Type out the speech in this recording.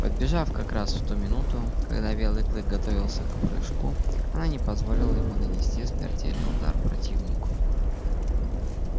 подбежав как раз в ту минуту когда белый клык готовился к прыжку она не позволила ему нанести смертельный удар противнику